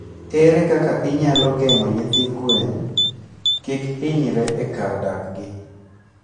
Ere kaka inyalo geng'o nyithi gwen kik hinyre e kar dak gi?